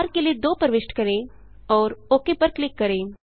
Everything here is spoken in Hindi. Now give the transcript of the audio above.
र के लिए 2 प्रविष्ट करें और ओक पर क्लिक करें